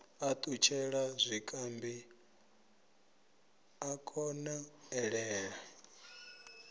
a ṱutshele zwikambi a konḓelele